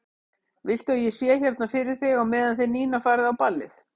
Viltu að ég sé hérna fyrir þig á meðan þið Nína farið á ballið?